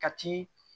Ka ti